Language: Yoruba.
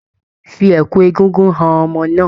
Fi ẹ̀kú egúngún han ọmọ náà